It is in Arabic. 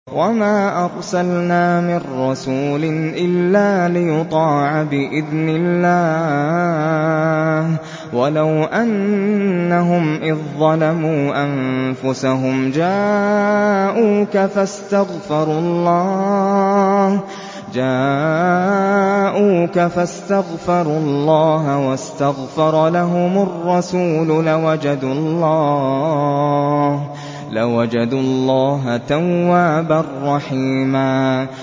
وَمَا أَرْسَلْنَا مِن رَّسُولٍ إِلَّا لِيُطَاعَ بِإِذْنِ اللَّهِ ۚ وَلَوْ أَنَّهُمْ إِذ ظَّلَمُوا أَنفُسَهُمْ جَاءُوكَ فَاسْتَغْفَرُوا اللَّهَ وَاسْتَغْفَرَ لَهُمُ الرَّسُولُ لَوَجَدُوا اللَّهَ تَوَّابًا رَّحِيمًا